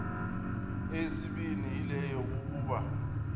eyesibini yile yokokuba